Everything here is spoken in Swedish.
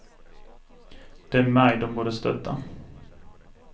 Det är mig de borde stötta.